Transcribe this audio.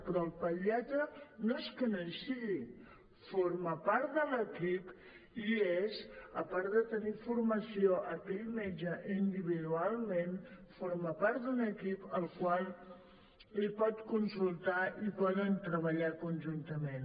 però el pediatre no és que no hi sigui forma part de l’equip hi és a part de tenir formació aquell metge individualment forma part d’un equip el qual li pot consultar i poden treballar conjuntament